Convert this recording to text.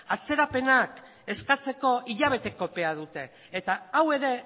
atzerapenak eskatzeko hilabeteko epea dute eta hau ere